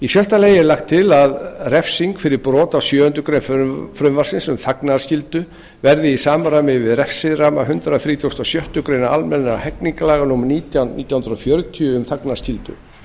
sjötta lagt er til að refsing fyrir brot á sjöundu greinar frumvarpsins um þagnarskyldu verði í samræmi við refsiramma hundrað þrítugasta og sjöttu grein almennra hegningarlaga númer nítján nítján hundruð fjörutíu um þagnarskyldu